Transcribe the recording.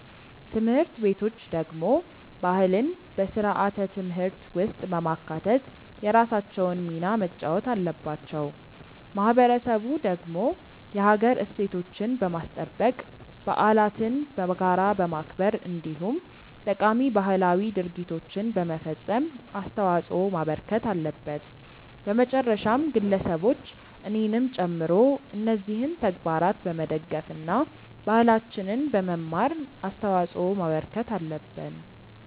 ትምህርት ቤቶች ደግሞ ባህልን በስርዓተ ትምህርት ውስጥ በማካተት የራሳቸውን ሚና መጫወት አለባቸው። ማህበረሰቡ ደግሞ የሀገር እሴቶችን በማስጠበቅ፣ በዓለትን በጋራ በማክበር እንዲሁም ጠቃሚ ባህላዊ ድርጊቶችን በመፈፀም አስተዋጽዖ ማበርከት አለበት። በመጨረሻም ግለሰቦች እኔንም ጨምሮ እነዚህን ተግባራት በመደገፍ እና ባህላችንን በመማር አስተዋጽዖ ማበርከት አለብን።